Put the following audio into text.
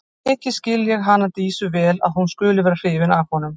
Mikið skil ég hana Dísu vel að hún skuli vera hrifin af honum.